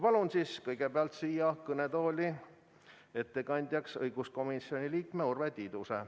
Palun kõigepealt siia kõnetooli ettekandjaks õiguskomisjoni liikme Urve Tiiduse.